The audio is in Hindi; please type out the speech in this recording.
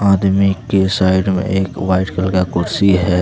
आदमी के साइड में एक वाइट कलर का कुर्सी है।